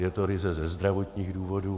Je to ryze ze zdravotních důvodů.